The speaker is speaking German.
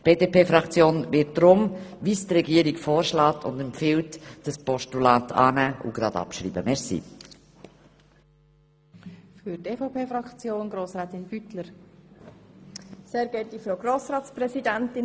Die BDP-Fraktion wird deshalb dem Regierungsvorschlag folgen und dieses Postulat annehmen und gleichzeitig abschreiben.